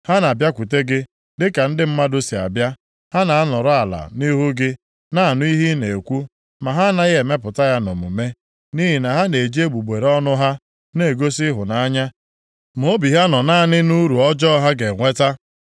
Ha na-abịakwute gị dịka ndị mmadụ si abịa, ha na-anọrọ ala nʼihu gị na-anụ ihe ị na-ekwu ma ha anaghị emepụta ya nʼomume: nʼihi na ha na-eji egbugbere ọnụ ha na-egosi ịhụnanya, ma obi ha nọ naanị na uru ọjọọ ha ga-enweta.